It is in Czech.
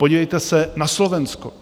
Podívejte se na Slovensko.